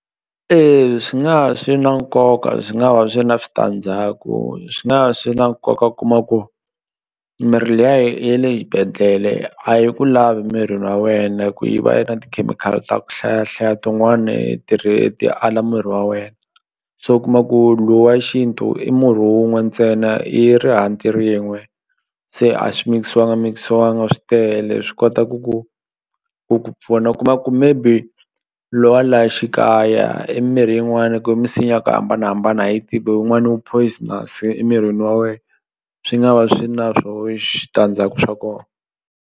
E swi nga va swi na nkoka swi nga va swi ri na switandzhaku swi nga swi na nkoka kuma ku mirhi liya ye le xibedhlele a yi ku lavi mirini wa wena hi ku yi va yi ri na tikhemikhali ta ku hlayahlaya tin'wani ala miri wa wena se u kuma ku lowa xintu i murhi wun'we ntsena i ri hantli rin'we se a swi mikisiwanga mikisiwanga swi tele swi kota ku ku ku ku pfuna u kuma ku maybe lowa la xikaya i mirhi yin'wani ku misinya ya ku hambanahambana a hi yi tivi wun'wani wu poisonous emirini wa we swi nga va swi na swo swa kona.